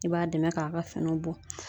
I b'a dɛmɛ k'a ka finiw bɔ